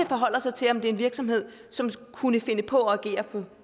forholde sig til om det er en virksomhed som kunne finde på at agere